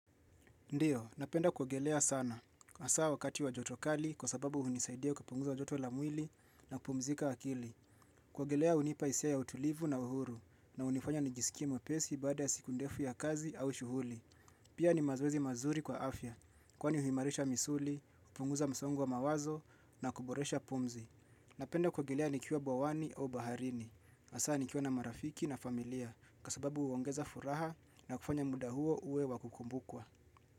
Ndio, napenda kuogelea sana. Asa wakati wa joto kali kwa sababu unisaidia kupunguza joto la mwili na kupumzika akili. Kuogelea unipa hisia ya utulivu na uhuru na unifanya nijisikie mwepesi baada ya siku ndefu ya kazi au shughuli. Pia ni mazoezi mazuri kwa afya kwani uhimarisha misuli, kupunguza msongo wa mawazo na kuboresha pumzi. Napenda kuogelea nikiwa bwawani au baharini. Asa nikiwa na marafiki na familia kwa sababu uongeza furaha na kufanya muda uo uwe wa kukumbukwa.